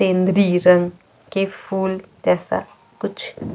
तेंद्रि रंग के फूल जैसा कुछ